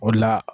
O la